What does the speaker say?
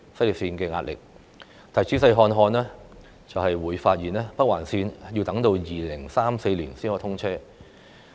然而，若我們仔細看看有關時間表，就會發現北環綫工程要待2034年才通車。